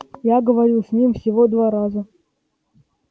я говорил с ними всего два раза